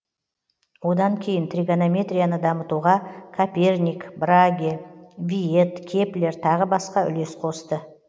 одан кейін тригонометрияны дамытуға коперник браге виет кеплер тағы басқа үлес қосты